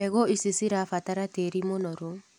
Mbegũ ici cirabatara tĩri mũnoru.